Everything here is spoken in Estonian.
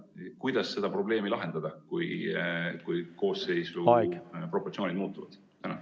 Kuidas seda probleemi lahendada, kui koosseisu proportsioonid muutuvad?